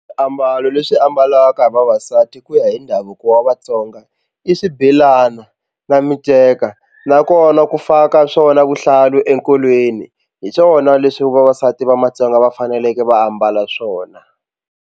Swiambalo leswi ambalaka hi vavasati ku ya hi ndhavuko wa Vatsonga i swibelana na miceka nakona ku faka swona vuhlalu enkolweni hi swona leswi vavasati va matsonga va faneleke va ambala swona.